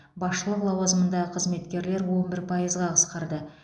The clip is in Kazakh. басшылық лауазымындағы қызметкерлер он бір пайызға қысқарды